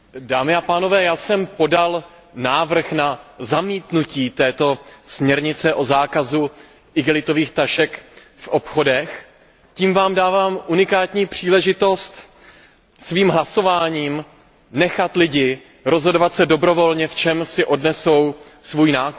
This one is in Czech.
Paní předsedající, já jsem podal návrh na zamítnutí této směrnice o zákazu igelitových tašek v obchodech. Tím vám dávám unikátní příležitost, abyste svým hlasováním nechali lidi rozhodovat se dobrovolně, v čem si odnesou svůj nákup.